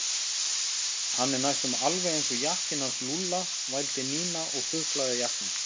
Hann er næstum alveg eins og jakkinn hans Lúlla vældi Nína og þuklaði jakkann.